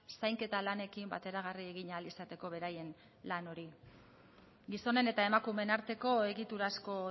zainketa lanekin bateragarri egin ahal izateko beraien lan hori gizonen eta emakumeen arteko egiturazko